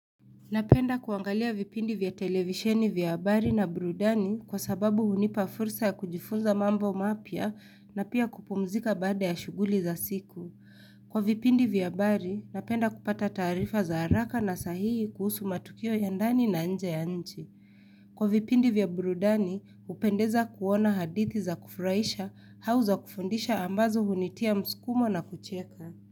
Napenda kuangalia vipindi vya televisheni vya abari na brudani kwa sababu hunipa fursa ya kujifunza mambo mapia na pia kupumzika baada ya shuguli za siku. Kwa vipindi vya abari, napenda kupata tarifa za haraka na sahihi kuhusu matukio ya ndani na nje ya nchi. Kwa vipindi vya brudani, hupendeza kuona hadithi za kufurahisha hau za kufundisha ambazo hunitia mskumo na kucheka.